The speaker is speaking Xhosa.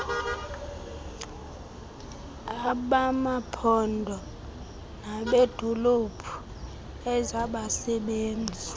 abamaphondo nabeedolophu ezabasebenzi